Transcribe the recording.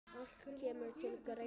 Allt kemur til greina.